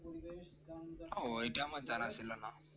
ওহঃ এটা আমার জানা ছিল না